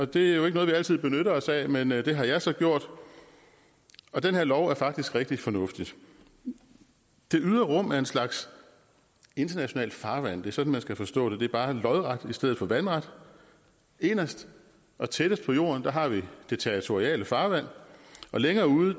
det er jo ikke noget vi altid benytter os af men det har jeg så gjort og den her lov er faktisk rigtig fornuftig det ydre rum er en slags internationalt farvand det er sådan man skal forstå det det er bare lodret i stedet for vandret inderst og tættest på jorden har vi det territoriale farvand og længere ude